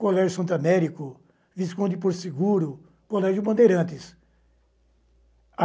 Colégio Santo Américo, Visconde por Seguro, Colégio Bandeirantes.